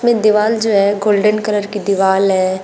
में दीवाल जो है गोल्डन कलर की दीवाल है।